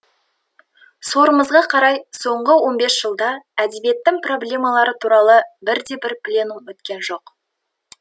сорымызға қарай соңғы он бесжылда әдебиеттің проблемалары туралы бірде бір пленум өткен жоқ